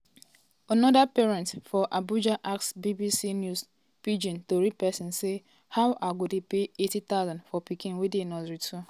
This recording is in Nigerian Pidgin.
anoda parent for abuja ask bbc news pidgin tori pesin say "how i go dey pay 80000 for pikin wey dey nursery two?"